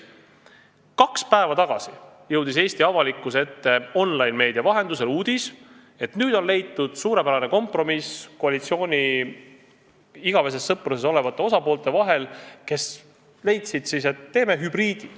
Kaks päeva tagasi jõudis Eesti avalikkuse ette online-meedia vahendusel uudis, et nüüd on leitud suurepärane kompromiss koalitsiooni igaveses sõpruses olevate osapoolt vahel, kes leidsid siis, et teeme hübriidi.